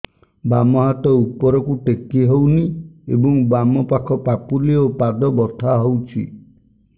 ବାମ ହାତ ଉପରକୁ ଟେକି ହଉନି ଏବଂ ବାମ ପାଖ ପାପୁଲି ଓ ପାଦ ବଥା ହଉଚି